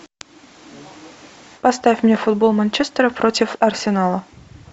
поставь мне футбол манчестера против арсенала